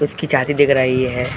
उसकी चाची दिख रही है।